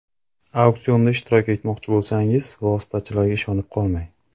Auksionda ishtirok etmoqchi bo‘lsangiz, vositachilarga ishonib qolmang.